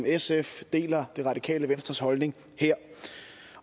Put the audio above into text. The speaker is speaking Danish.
sf deler det radikale venstres holdning her